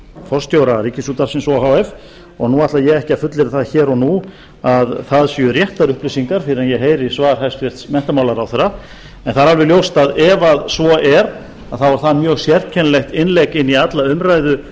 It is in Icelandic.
forstjóra ríkisútvarpsins o h f og nú ætla ég ekki að fullyrða það hér og nú að það séu réttar upplýsingar fyrr en ég heyri svar hæstvirtur menntamálaráðherra en það er alveg ljóst að ef svo er þá er það mjög sérkennilegt innlegg í alla umræðu